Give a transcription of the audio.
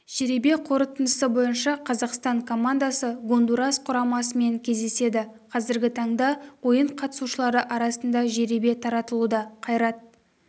жеребе қорытындысы бойынша қазақстан командасы гондурас құрамасымен кездеседі қазіргі таңда ойын қатысушылары арасында жеребе тартылуда қайрат